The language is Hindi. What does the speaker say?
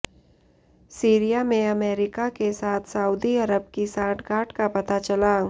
सीरिया में अमरीका के साथ सऊदी अरब की सांठगांठ का पता चला